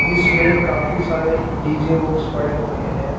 जिसमें काफी सारे डी_जे बॉक्स पड़े हुए हैं।